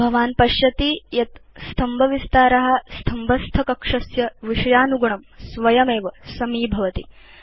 भवान् पश्यति यत् स्तम्भविस्तार स्तम्भस्थकक्षस्य विषयानुगुणं स्वयमेव समीभवति